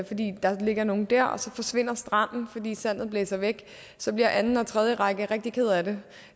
fordi der ligger nogle der og så forsvinder stranden fordi sandet blæser væk så bliver anden og tredje række rigtig ked af det